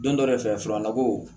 Don dɔ de fɛ furanna ko